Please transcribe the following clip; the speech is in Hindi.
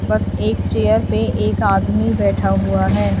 बस एक चेयर पे एक आदमी बैठा हुआ है।